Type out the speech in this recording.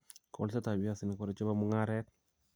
golsetap piasinikap ware che po mung'aaret